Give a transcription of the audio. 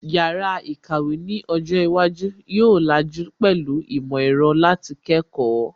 Yàrá ìkàwé ni ọjọ́ iwájú yóò làjú pẹ̀lú ìmọ̀ ẹ̀rọ láti kẹ́kọ̀ọ́